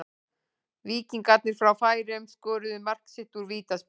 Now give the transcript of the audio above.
Víkingarnir frá Færeyjum skoruðu mark sitt úr vítaspyrnu.